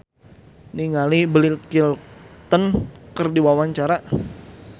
Irgi Ahmad Fahrezi olohok ningali Bill Clinton keur diwawancara